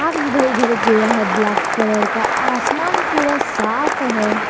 इधर उधर गया है ब्लैक कलर का आसमान पूरा साफ है।